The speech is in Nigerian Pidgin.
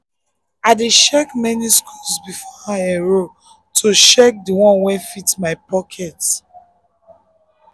i dey compare many schools before i enroll to check the one wey fit my pocket